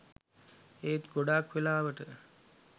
ඒත් ගොඩක් වෙලාවට